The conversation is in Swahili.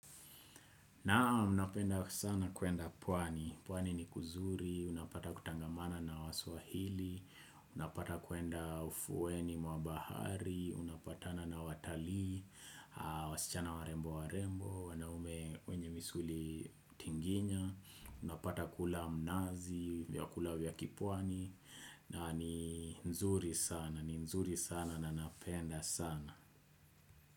Naam napenda sana kuenda pwani, pwani ni kuzuri, unapata kutangamana na waswahili, unapata kuenda ufuweni mwa bahari, unapatana na watalii, wasichana warembo warembo, wanaume wenye misuli tinginya, unapata kula mnazi, vyakula vya kipwani, na ni nzuri sana, ni nzuri sana na napenda sana.